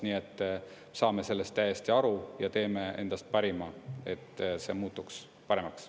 Nii et saame sellest täiesti aru ja teeme endast parima, et see muutuks paremaks.